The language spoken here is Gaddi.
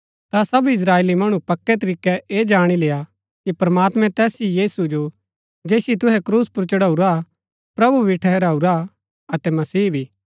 ता सब इस्त्राएली मणु पक्कै तरीकै ऐह जाणी लेय्आ कि प्रमात्मैं तैस ही यीशु जो जैसिओ तुहै क्रूस पुर चढाऊरा प्रभु भी ठहराऊरा अतै मसीह भी